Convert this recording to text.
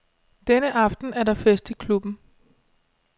Denne aften er der fest i klubben.